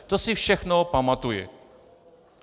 To si všechno pamatuji.